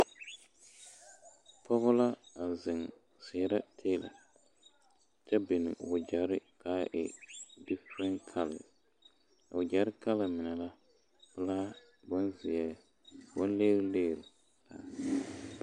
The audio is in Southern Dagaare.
Pɔge la a zeŋ seɛrɛ teela kyɛ biŋ o wagyɛre ka a e defɛrɛ kala a wagyɛre kala mine la pelaa bonzeɛ bonligriligri.